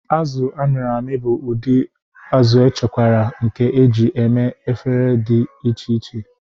Azụ a mịrị amị bụ ụdị azụ̀echekwara nke e ji eme efere dị iche iche.